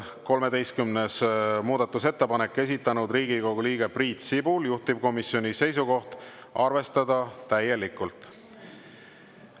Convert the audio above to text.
13. muudatusettepanek, esitanud Riigikogu liige Priit Sibul, juhtivkomisjoni seisukoht: arvestada täielikult.